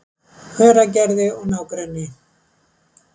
Hveragerði og nágrenni.